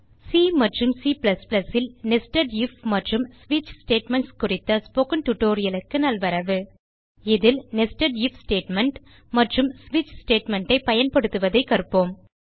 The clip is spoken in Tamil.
சி மற்றும் C ல் நெஸ்டட் ஐஎஃப் மற்றும் ஸ்விட்ச் ஸ்டேட்மென்ட்ஸ் குறித்த ஸ்போக்கன் டியூட்டோரியல் க்கு நல்வரவு இதில் நெஸ்டட் ஐஎஃப் ஸ்டேட்மெண்ட் மற்றும் ஸ்விட்ச் ஸ்டேட்மெண்ட் ஐ பயன்படுத்துவதைக் கற்போம்